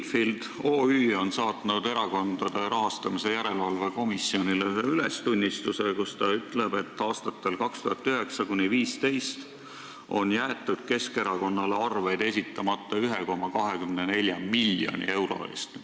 Midfield OÜ on saatnud Erakondade Rahastamise Järelevalve Komisjonile ühe ülestunnistuse, kus ta ütleb, et aastatel 2009–2015 jäeti Keskerakonnale arveid esitamata 1,24 miljoni euro eest.